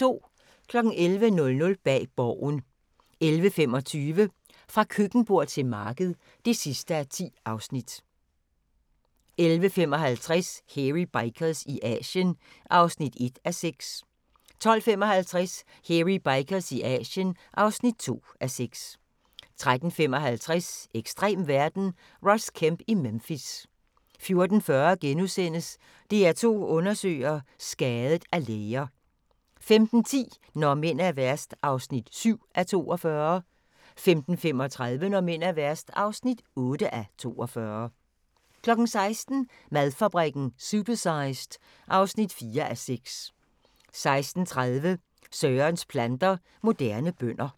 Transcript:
11:00: Bag Borgen 11:25: Fra køkkenbord til marked (10:10) 11:55: Hairy Bikers i Asien (1:6) 12:55: Hairy Bikers i Asien (2:6) 13:55: Ekstrem verden – Ross Kemp i Memphis 14:40: DR2 Undersøger: Skadet af læger * 15:10: Når mænd er værst (7:42) 15:35: Når mænd er værst (8:42) 16:00: Madfabrikken – Supersized (4:6) 16:30: Sørens planter - moderne bønder